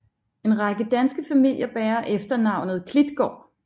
En række danske familier bærer efternavnet Klitgaard